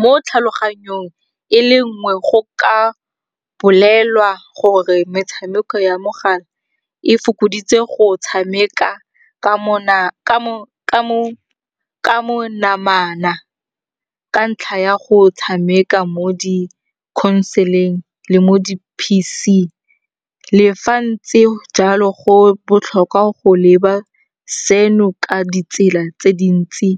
Mo tlhaloganyong e le nngwe go ka bolelwa gore metshameko ya mogala e fokoditse go tshameka ka monamana ka ntlha ya go tshameka mo di console-eng le mo di-P_C. Le fa ntse jalo go botlhokwa go leba seno ka ditsela tse dintsi